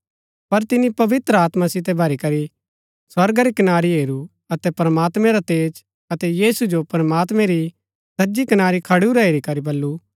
पर तिनी पवित्र आत्मा सितै भरी करी स्वर्गा री कनारी हेरू अतै प्रमात्मैं रा तेज अतै यीशु जो प्रमात्मैं री सज्जी कनारी खडुरा हेरी करी